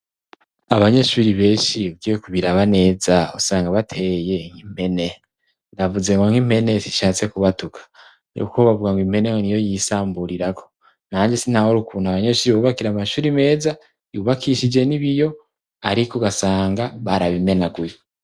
Abanyeshuri benshi ugiye ku biraba neza ,usanga bateye nk'impene, navuze ngo nk'impene sishatse kubatuka ,ni kuko bavuga ngo impene ni yo yisamburirako ,nanje si ntahura ukuntu abanyeshuri babubakira amashuri meza yubakishije n'ibiyo, ariko ugasanga barabimenaguye.